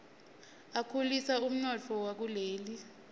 akhulisa umnotfo wakuleli